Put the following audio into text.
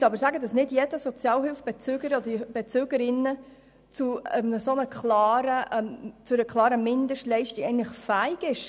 Dem müssen wir entgegenhalten, dass nicht jeder Sozialhilfebezüger oder jede Sozialhilfebezügerin zu einer solchen Mindestleistung fähig ist.